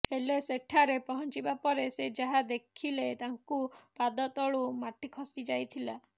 ହେଲେ ସେଠାରେ ପହଞ୍ଚିବା ପରେ ସେ ଯାହା ଦେଖିଲେ ତାଙ୍କୁ ପାଦ ତଳୁ ମାଟି ଖସି ଯାଇଥିଲା